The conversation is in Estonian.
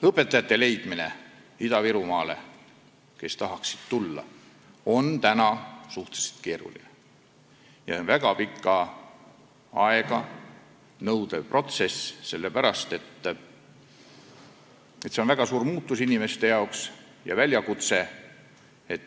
Õpetajate leidmine, kes tahaksid Ida-Virumaale tulla, on suhteliselt keeruline ja väga pikka aega nõudev protsess, sest see on inimeste jaoks väga suur muutus ja väljakutse.